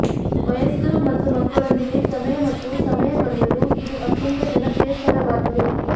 ವಯಸ್ಕರು ಮತ್ತು ಮಕ್ಕಳೊಂದಿಗೆ ಸಮಯ ಮತ್ತು ಸಮಯ ಕಳೆಯಲು ಇದು ಅತ್ಯಂತ ಜನಪ್ರಿಯ ಸ್ಥಳವಾಗಿದೆ